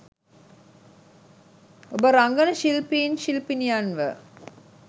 ඔබ රංගන ශිල්පීන් ශිල්පිනියන්ව